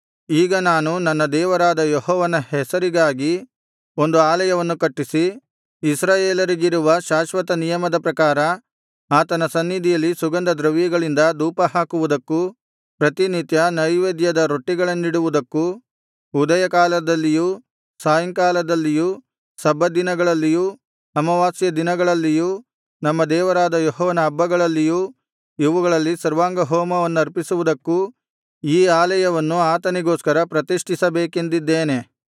ಈಗ ನಾನು ನನ್ನ ದೇವರಾದ ಯೆಹೋವನ ಹೆಸರಿಗಾಗಿ ಒಂದು ಆಲಯವನ್ನು ಕಟ್ಟಿಸಿ ಇಸ್ರಾಯೇಲರಿಗಿರುವ ಶಾಶ್ವತ ನಿಯಮದ ಪ್ರಕಾರ ಆತನ ಸನ್ನಿಧಿಯಲ್ಲಿ ಸುಗಂಧದ್ರವ್ಯಗಳಿಂದ ಧೂಪಹಾಕುವುದಕ್ಕೂ ಪ್ರತಿನಿತ್ಯ ನೈವೇದ್ಯದ ರೊಟ್ಟಿಗಳನ್ನಿಡುವುದಕ್ಕೂ ಉದಯಕಾಲದಲ್ಲಿಯೂ ಸಾಯಂಕಾಲದಲ್ಲಿಯೂ ಸಬ್ಬತ್ ದಿನಗಳಲ್ಲಿಯೂ ಅಮಾವಾಸ್ಯೆಯ ದಿನಗಳಲ್ಲಿಯೂ ನಮ್ಮ ದೇವರಾದ ಯೆಹೋವನ ಹಬ್ಬಗಳಲ್ಲಿಯೂ ಇವುಗಳಲ್ಲಿ ಸರ್ವಾಂಗಹೋಮವನ್ನರ್ಪಿಸುವುದಕ್ಕೂ ಈ ಆಲಯವನ್ನು ಆತನಿಗೋಸ್ಕರ ಪ್ರತಿಷ್ಠಿಸಬೇಕೆಂದಿದ್ದೇನೆ